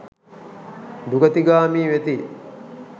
දුගතිගාමී වෙති.